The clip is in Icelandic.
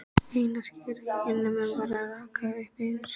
Eina skýið á himninum var að rakna upp yfir